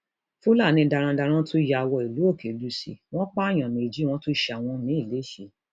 fúlàní darandaran tún ya wọ ìlú òkèlùṣe wọn pààyàn méjì wọn tún ṣe àwọn míín lẹsẹ